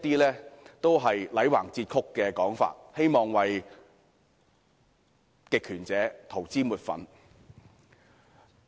這種"戾橫折曲"的說法只不過是想為極權者塗脂抹粉。